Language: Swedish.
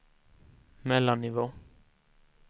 mellannivå